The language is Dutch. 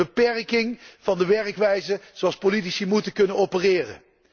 Dat is een beperking van de werkwijze waarop politici moeten kunnen opereren.